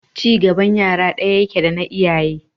Ci gaban ƴaƴa ɗaya yake dana iyaye.